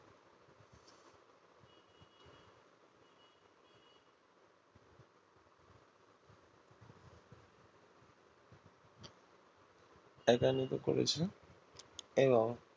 একান্নিত করেছে এবং